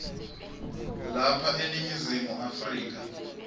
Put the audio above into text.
lapha eningizimu afrika